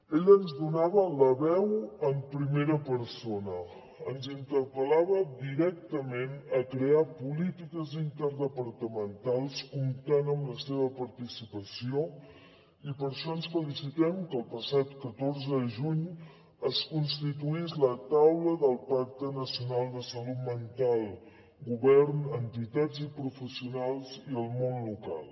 ella ens donava la veu en primera persona ens interpel·lava directament a crear polítiques interdepartamentals comptant amb la seva participació i per això ens felicitem que el passat catorze de juny es constituís la taula del pacte nacional de salut mental govern entitats i professionals i el món local